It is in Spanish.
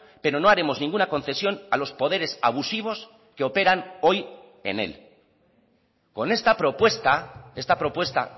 pero no haremos ninguna concesión a los poderes abusivos que operan hoy en él con esta propuesta esta propuesta